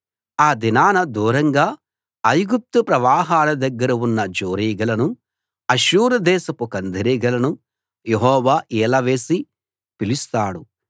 ఆ దినాన దూరంగా ఐగుప్తు ప్రవాహాల దగ్గర ఉన్న జోరీగలను అష్షూరు దేశపు కందిరీగలను యెహోవా ఈల వేసి పిలుస్తాడు